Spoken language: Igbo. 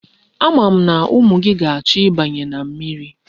Ama m na umu gi ga-acho ibanye na mmiri.